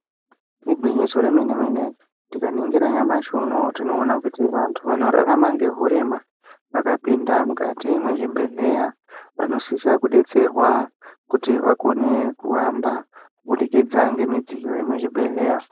Igwinyiso re mene mene tika ningira nyamashi unowu tino ona kuti vantu vano rarama ne urema vakapinda mukati mwe zvibhedhleya vanosisa ku detserwa kuti vakone kuhamba kubudikidza nge midziyo yemu zvibhedhleya.